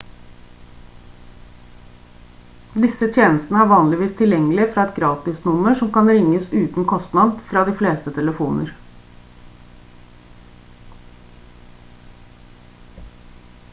disse tjenestene er vanligvis tilgjengelig fra et gratisnummer som kan ringes uten kostnad fra de fleste telefoner